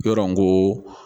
Yɔrɔ n ko